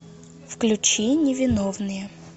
включи невиновные